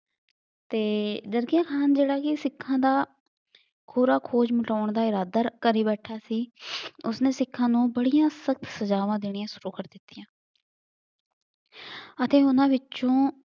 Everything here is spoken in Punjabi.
ਤੇ ਜਰਕੀਆਂ ਖਾਨ ਜਿਹੜਾ ਕੀ ਸਿਖਾਂ ਦਾ ਖੋਜ ਮਿਟਾਉਣ ਦਾ ਇਰਾਦਾ ਕਰੀ ਬੈਠਾ ਸੀ ਉਸਨੇ ਸਿਖਾਂ ਨੂੰ ਬੜੀਆਂ ਸਖ਼ਤ ਸਜਾਵਾਂ ਦੇਣੀਆਂ ਸੁਰੂ ਕਰ ਦਿਤੀਆਂ ਅਤੇ ਉਹਨਾਂ ਵਿਚੋਂ